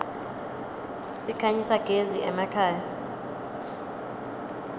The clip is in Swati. sikhanyisa gez iemakhaya